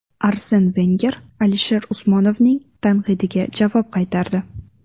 Arsen Venger Alisher Usmonovning tanqidiga javob qaytardi.